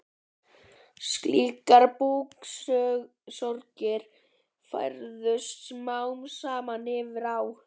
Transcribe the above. Slíkar búksorgir færðust smám saman yfir á